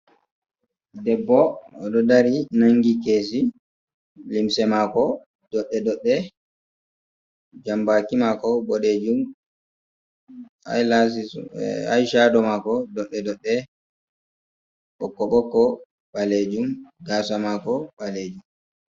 Debbo, o ɗo dari nanngi keesi, limse maako doɗɗe -doɗɗe, jambaaki maako boɗeejum, aay caado maako doɗɗe- doɗɗe; ɓokko -ɓokko. ɓaleejum, gaasa maako ɓaleejum.